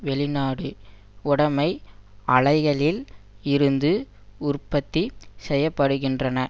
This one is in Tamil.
வெளிநாடு உடைமை ஆலைகளில் இருந்து உற்பத்தி செய்ய படுகின்றன